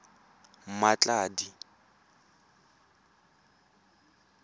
mmatladi